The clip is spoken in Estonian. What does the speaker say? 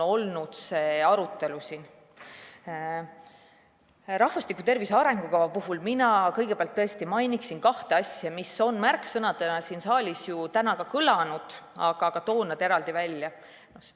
Rahvastiku tervise arengukava puhul mainiksin mina kõigepealt kahte asja, mis on märksõnadena siin saalis ju täna ka kõlanud, aga toon nad eraldi välja.